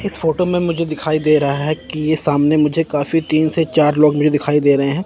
इस फोटो में मुझे दिखाई दे रहा है कि सामने मुझे काफी तीन से चार लोग मुझे दिखाई दे रहे हैं।